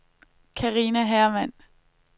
Carina Hermann